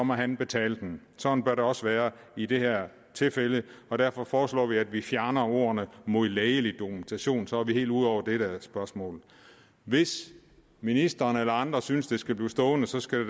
må han betale den sådan bør det også være i det her tilfælde og derfor foreslår vi at vi fjerner ordene mod lægelig dokumentation for så er vi helt ude over det spørgsmål hvis ministeren eller andre synes at det skal blive stående så skal